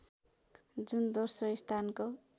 जुन दोस्रो स्थानको